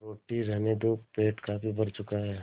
रोटी रहने दो पेट काफी भर चुका है